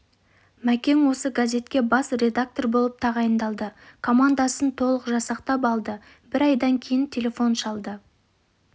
мәкең осы газетке бас редактор болып тағайындалды командасын толық жасақтап алды бір айдан кейін телефон шалды